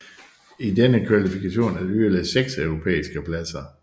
I denne kvalifikation er der yderligere 6 europæiske pladser